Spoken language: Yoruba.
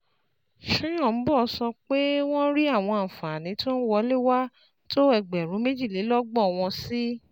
Soyombo sọ pé wọ́n rí àwọn àǹfààní tó ń wọlé wá tó ẹgbẹ̀rún méjìlélọ́gbọ̀n, wọ́n sì